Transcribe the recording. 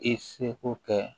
I seko kɛ